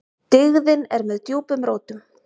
Dyggðin er með djúpum rótum.